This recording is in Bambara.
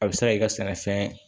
A bɛ se ka kɛ i ka sɛnɛfɛn